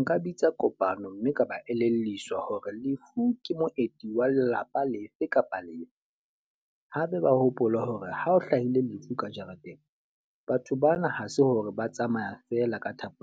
Nka bitsa kopano mme ka ba elelliswa hore lefu ke moeti wa lelapa lefe kapa lefe. Hape ba hopole hore ha o hlahile lefu ka jareteng. Batho bana ha se hore ba tsamaya feela ka thapo,